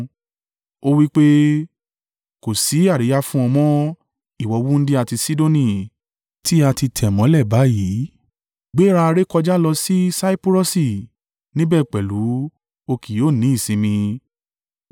Ó wí pé, “Kò sí àríyá fún ọ mọ́, ìwọ wúńdíá ti Sidoni, tí a ti tẹ̀ mọ́lẹ̀ báyìí! “Gbéra, rékọjá lọ sí Saipurọsi, níbẹ̀ pẹ̀lú o kì yóò ní ìsinmi.”